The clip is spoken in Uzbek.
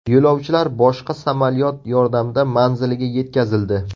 Yo‘lovchilar boshqa samolyot yordamida manziliga yetkazildi.